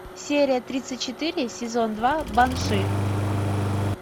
серия тридцать четыре сезон два банши